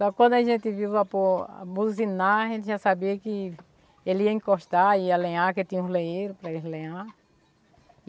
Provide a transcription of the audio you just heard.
Só que quando a gente viu o vapor buzinar, a gente já sabia que ele ia encostar, ia lenhar, que tinha uns lenheiros para eles lenharem.